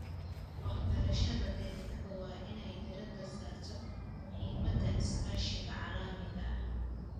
Waxbarashada deegaanka waa inay diiradda saarto muhiimadda iskaashiga caalamiga ah.